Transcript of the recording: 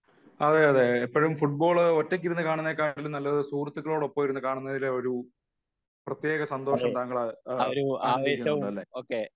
അതെയതെ എപ്പോഴും ഫുട്ബോൾ ഒറ്റക്കിരുന്നു കാണുന്നതിനേക്കാൾ നല്ലത് സുഹൃത്തുക്കളോടൊപ്പം ഇരുന്നു കാണുന്നത് എപ്പോഴും ഒരു പ്രത്യേക സന്തോഷം താങ്കൾ ആനന്ദിക്കുന്നുണ്ട് അല്ലെ